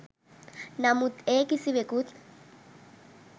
නමුත් ඒ කිසිවෙකුත්